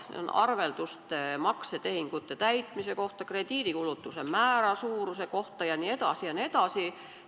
Neid on arvelduste, maksetehingute täitmise kohta, krediidi kulukuse määra kohta jne, jne.